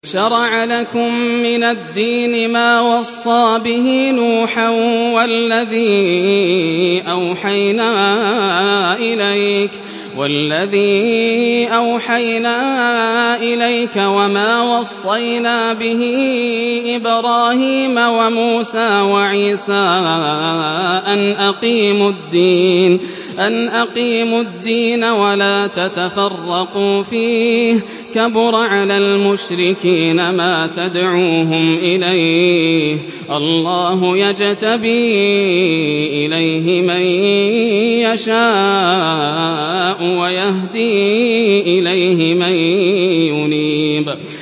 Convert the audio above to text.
۞ شَرَعَ لَكُم مِّنَ الدِّينِ مَا وَصَّىٰ بِهِ نُوحًا وَالَّذِي أَوْحَيْنَا إِلَيْكَ وَمَا وَصَّيْنَا بِهِ إِبْرَاهِيمَ وَمُوسَىٰ وَعِيسَىٰ ۖ أَنْ أَقِيمُوا الدِّينَ وَلَا تَتَفَرَّقُوا فِيهِ ۚ كَبُرَ عَلَى الْمُشْرِكِينَ مَا تَدْعُوهُمْ إِلَيْهِ ۚ اللَّهُ يَجْتَبِي إِلَيْهِ مَن يَشَاءُ وَيَهْدِي إِلَيْهِ مَن يُنِيبُ